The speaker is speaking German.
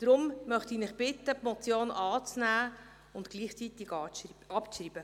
Deshalb möchte ich Sie bitten, die Motion anzunehmen und gleichzeitig abzuschreiben.